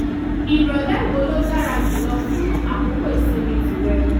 ìrọ̀lẹ́ wo ló dára jù lọ fún àkókò ìsinmi tìrẹ?